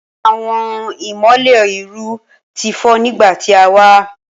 Awọn imọlẹ iru ti fọ nigba ti a wa